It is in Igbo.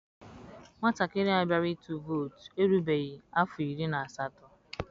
Nwatakịrị a bịara ịtụ vootu erubeghị afọ iri na asatọ.